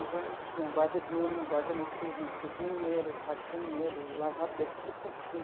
Então, a gente tinha guarda diurno, guarda noturno, cozinheiro, faxineiro, lavadeiro, enfim.